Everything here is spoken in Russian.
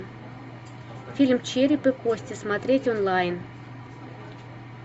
фильм череп и кости смотреть онлайн